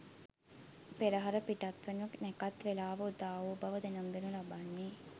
පෙරහර පිටත්වනු නැකත් වේලාව උදාවූ බව දැනුම් දෙනු ලබන්නේ